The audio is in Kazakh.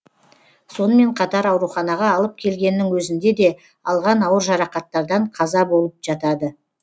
сонымен қатар ауруханаға алып келгеннің өзінде де алған ауыр жарақаттардан қаза болып жатады